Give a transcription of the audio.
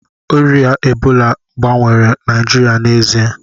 Ọrịa Ebola gbanwere Naịjirịa n'ezie